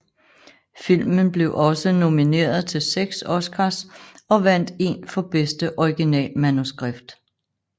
Filmen blev også nomineret til seks Oscars og vandt én for bedste originalmanuskript